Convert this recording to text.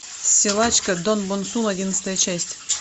силачка до бон сун одиннадцатая часть